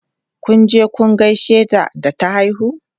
Kun je kun gaishe ta da ta haihu?